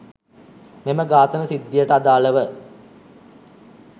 මෙම ඝාතන සිද්ධියට අදාළව